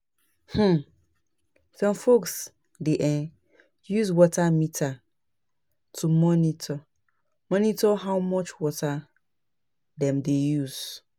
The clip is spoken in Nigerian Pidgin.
um Some folks dey um use water meters to monitor monitor how much water dem dey use.